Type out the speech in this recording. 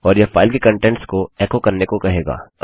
और यह फाइल के कंटेंट्स को एको करने कहेगा